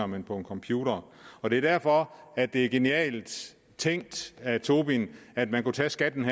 men på en computer og det er derfor at det er genialt tænkt af tobin at man kan tage skatten